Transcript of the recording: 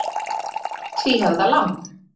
Tvíhöfða lamb.